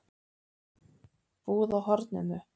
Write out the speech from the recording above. Búð á horninu?